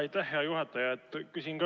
Aitäh, hea juhataja!